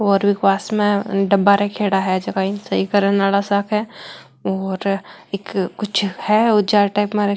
और पास मे डबा रखेड़ा है जीका इन सही करण आरा सक है और एक कुछ है --